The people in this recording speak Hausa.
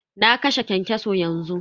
Na kashe kyankyaso yanzu.